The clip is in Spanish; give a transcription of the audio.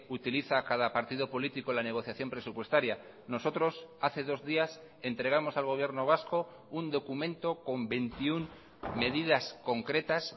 utiliza cada partido político la negociación presupuestaria nosotros hace dos días entregamos al gobierno vasco un documento con veintiuno medidas concretas